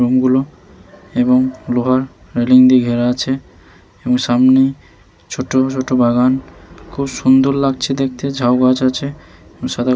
রংগুলো এবং লোহার রেলিং দিয়ে ঘেরা আছে এবং সামনে ছোট ছোট বাগান খুব সুন্দর লাগছে দেখতে। ঝাও গাছ আছে এবং সাদা --